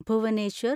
Bhubaneswar